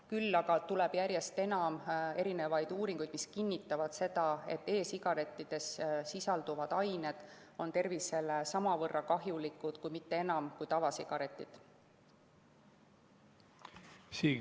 Küll aga tuleb järjest enam uuringuid, mis kinnitavad, et e‑sigarettides sisalduvad ained on tervisele samavõrra – kui mitte enam – kahjulikud kui tavasigarettides sisalduv.